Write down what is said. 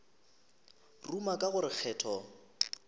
ruma ka go re kgetho